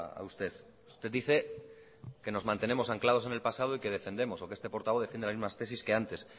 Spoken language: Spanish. a usted usted dice que nos mantenemos anclados en el pasado y que defendemos o que este portavoz defiende las mismas tesis que antes